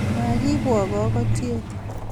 Magiibwok kakotyet